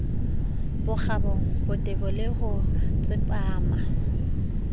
bokgabo botebo le ho tsepama